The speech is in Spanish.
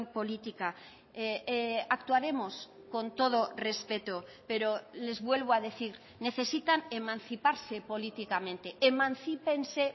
política actuaremos con todo respeto pero les vuelvo a decir necesitan emanciparse políticamente emancípense